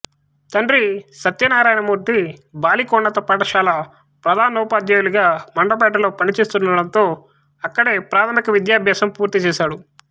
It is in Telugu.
తండ్రి సత్యనారాయణ మూర్తి బాలికోన్నత పాఠశాల ప్రధానోపాధ్యాయులుగా మండపేట లో పనిచేస్తూండటంతో అక్కడే ప్రాథమిక విద్యాభ్యాసం పూర్తి చేశాడు